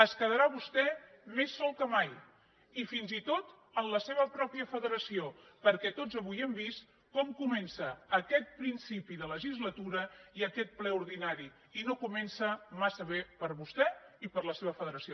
es quedarà vostè més sol que mai i fins i tot en la seva pròpia federació perquè tots avui hem vist com comencen aquest principi de legislatura i aquest ple ordinari i no comencen massa bé per a vostè ni per a la seva federació